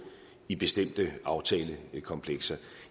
i bestemte aftalekomplekser